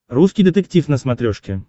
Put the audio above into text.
русский детектив на смотрешке